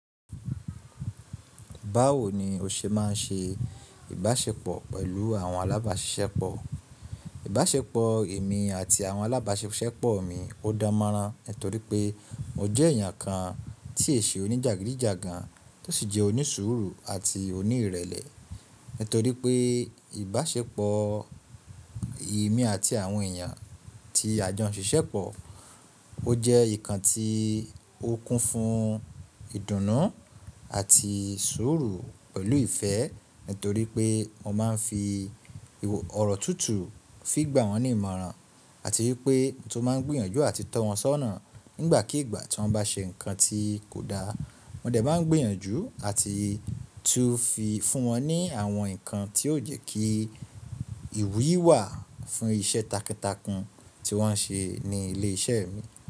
Báwo ni o ṣe máa ń ṣe ìbáṣepọ̀ pẹ̀lú àwọn alábáṣiṣẹ́pọ̀? Ìbáṣepọ̀ èmi àti àwọn alábáṣiṣẹ́pọ̀ mi ò dán mọ́rán nítorí pé mo jẹ́ èèyàn kan tí è ṣe oní jagidijagan tó sì jẹ́ onísùúrù àti oníìrẹ̀lẹ̀. Nítorí pé ìbáṣepọ̀ èmi àti àwọn èèyàn tí a jọ ń ṣiṣẹ́pọ̀, ó jẹ́ ìkan tí ó kún fún ìdùnnú àti sùúrù pẹ̀lú ìfẹ́ nítorí pé mo máa ń fi ọ̀rọ̀ tútù fi gbà wọ́n ní ìmọ̀ràn àti wípé nítorí mo tún máa ń gbìyànjú àti tọ́wọn sọ́nà ìgàkíìgbà tíwọn bá ṣe nǹkan tí kò dáa. Mo dẹ̀ máa ń gbìyànjú àti tú fi fún wọn ní àwọn ǹkan tí yóò jẹ́ kí ìwúyì wà fún iṣẹ́ takuntakun tí wọ́n ṣe ní ilé iṣẹ́ mi.